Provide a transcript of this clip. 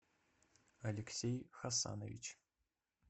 алексей хасанович